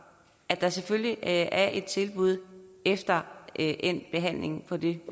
at der selvfølgelig er et tilbud efter endt behandling på det